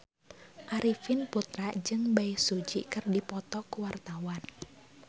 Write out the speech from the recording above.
Arifin Putra jeung Bae Su Ji keur dipoto ku wartawan